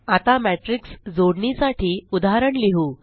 आता मॅटिर्क्स जोडणी साठी उदाहरण लिहु